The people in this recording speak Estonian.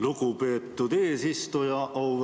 Lugupeetud eesistuja!